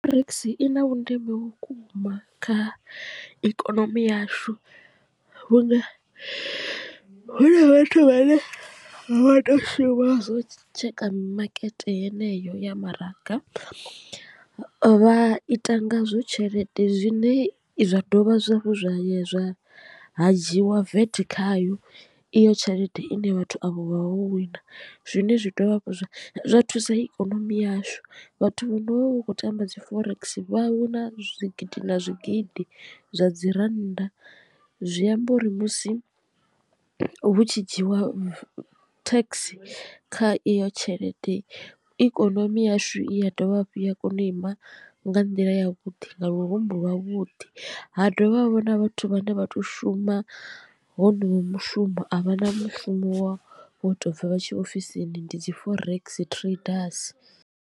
Forex i na vhundeme vhukuma kha ikonomi yashu vhunga huna vhathu vhane vha to shuma zwo tsheka mimakete yeneyo ya maraga vha ita ngazwo tshelede zwine zwa dovha zwa hafhu zwa ya zwa ha dzhiwa vat khayo iyo tshelede ine vhathu avho vha ho wina. Zwine zwi dovha zwa thusa ikonomi yashu vhathu vho no vha hu khou tamba dzi forex vha wina zwigidi na zwigidi zwa dzi rannda zwi amba uri musi hu tshi dzhiwa tax kha iyo tshelede ikonomi yashu i dovha hafhu ya kona u ima nga nḓila ya vhuḓi nga lurumbu lwa vhuḓi ha dovha havha na vhathu vhane vha to shuma honoyu mushumo a vha na mushumo wo to bva vha tshi ya ofisini ndi dzi forex traders.